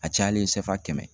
A cayalen kɛmɛ.